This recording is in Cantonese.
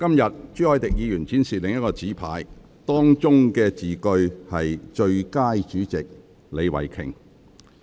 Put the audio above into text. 今天，朱凱廸議員展示另一個紙牌，當中的字句是"最佳主席李慧琼"。